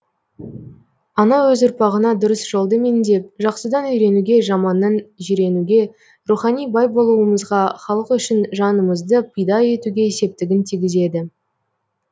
ана өз ұрпағына дұрыс жолды меңзеп жақсыдан үйренуге жаманнан жиренуге рухани бай болуымызға халық үшін жанымызды пида етуге септігін тигізеді